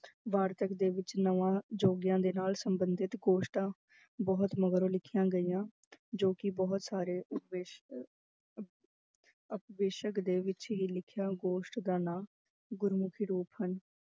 ਵਾਰਤਕ ਦੇ ਵਿੱਚ ਨਵਾਂ ਜੋਗੀਆਂ ਦੇ ਨਾਲ ਸੰਬੰਧਿਤ ਗੋਸ਼ਟਾਂ ਬਹੁਤ ਮਗਰੋਂ ਲਿਖੀਆਂ ਗਈਆਂ ਜੋ ਕਿ ਬਹੁਤ ਸਾਰੇ ਅਪਵੇਸ਼ਕ ਦੇ ਵਿੱਚ ਹੀ ਲਿਖਿਆ ਗੋਸ਼ਟ ਦਾ ਨਾਂ ਗੁਰਮੁਖੀ ਰੂਪ ਹਨ